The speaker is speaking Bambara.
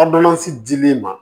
dili ma